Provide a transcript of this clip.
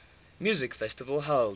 music festival held